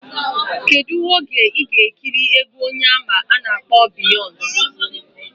Kedu oge iga ekiri egwu onye ama ana akpo Beyonce?